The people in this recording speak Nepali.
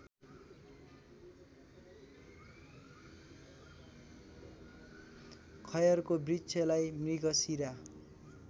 खयरको वृक्षलाई मृगशिरा